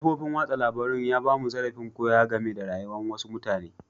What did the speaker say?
Kafofin wasan labaru ya ba mu zarrafin koya game da rayuwa'n wasu mutane.